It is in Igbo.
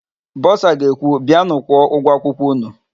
Bọsa ga-ekwu, "bịanụ kwụọ ụgwọ akwụkwọ ụnụ"!